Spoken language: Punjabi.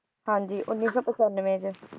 ਹਾਂਜੀ ਉੱਨੀ ਸੌ ਪਚਾਨਵੇਂ 'ਚ